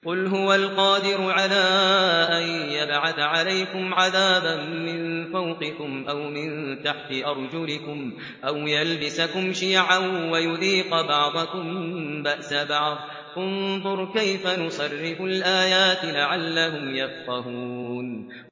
قُلْ هُوَ الْقَادِرُ عَلَىٰ أَن يَبْعَثَ عَلَيْكُمْ عَذَابًا مِّن فَوْقِكُمْ أَوْ مِن تَحْتِ أَرْجُلِكُمْ أَوْ يَلْبِسَكُمْ شِيَعًا وَيُذِيقَ بَعْضَكُم بَأْسَ بَعْضٍ ۗ انظُرْ كَيْفَ نُصَرِّفُ الْآيَاتِ لَعَلَّهُمْ يَفْقَهُونَ